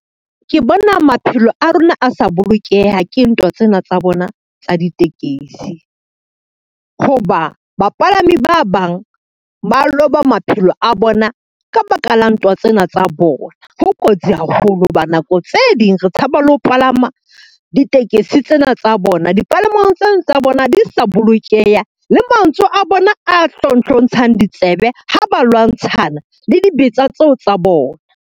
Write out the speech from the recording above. Ke bona maphelo a rona a sa bolokeha ke ntwa tsena tsa bona tsa ditekesi, ho ba bapalami ba bang ba loba maphelo a bona ka baka la ntwa tsena tsa bona. Ho kotsi yoh haholo ho ba nako tse ding re tshaba le ho palama ditekesi tsena tsa bona, dipalamong tseno tsa bona di sa bolokeha le mantswe a bona a hlonhlontsha ditsebe ha ba lwantshana le dibetsa tseo tsa bona.